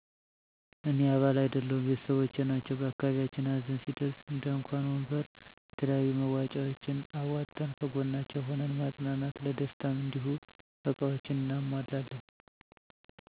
እኔ አባል አይደለሁም ቤተሰቦቸ ናቸዉ በአካባቢያችን ሀዘን ሲደርስ እንድንኳን ወንበር የተለያዩ መዋጫዎችን አዋጠን ከጎናቸዉ ሁነን ማፀናናት ለደስታም እንዲሁ እቃዎችን አናሟላለን